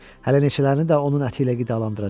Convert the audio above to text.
Hələ neçələrini də onun əti ilə qidalandıracam.